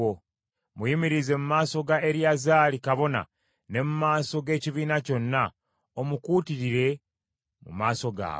Muyimirize mu maaso ga Eriyazaali kabona ne mu maaso g’ekibiina kyonna, omukuutirire mu maaso gaabwe.